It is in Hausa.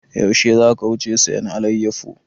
Yaushe za ka wuce sayan alayyafo?